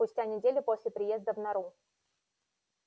спустя неделю после приезда в нору